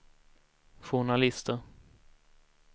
journalister